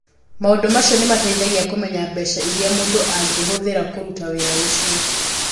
Maũndũ macio nĩ mateithagia kũmenya mbeca iria mũndũ angĩhũthĩra kũruta wĩra ũcio.